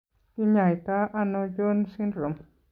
Kiny'aayto ano Jones syndrome?